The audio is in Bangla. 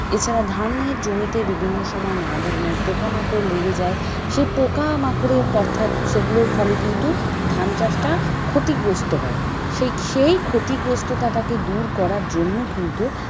এছাড়া ধানের জমিতে বিভিন্ন সময় নানা ধরনের পোকামাকড় লেগে যায় সেই পোকামাকড়ের অর্থাৎ সেগুলোর ফলে কিন্তু ধান চাষ টা ক্ষতিগ্রস্ত হয় ।সেই ক্ষতিগ্রস্ততা টাকে দূর করার জন্য কিন্তু,